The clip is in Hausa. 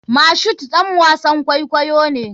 Mashood ɗan wasan kwaikwayo ne.